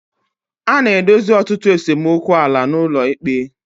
A na-edozi ọtụtụ esemokwu ala n'ụlọ ikpe.